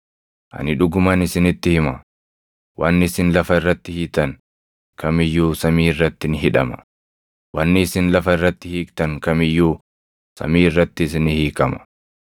“Ani dhuguman isinitti hima; wanni isin lafa irratti hiitan kam iyyuu samii irratti ni hidhama; wanni isin lafa irratti hiiktan kam iyyuu samii irrattis ni hiikama.